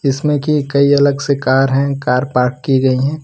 इसमें की कई अलग से कार हैं कार पार्क की गईं हैं।